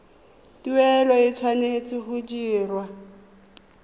tuelo e tshwanetse go dirwa